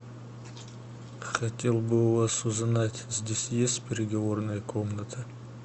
хотел бы у вас узнать здесь есть переговорная комната